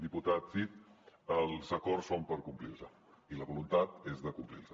diputat cid els acords són per complir los i la voluntat és de complir los